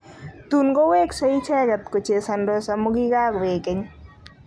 Tun koweksei icheget opkochesandos amu kiakoek keny.